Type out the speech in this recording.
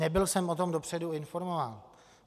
Nebyl jsem o tom dopředu informován.